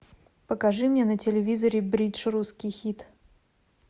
покажи мне на телевизоре бридж русский хит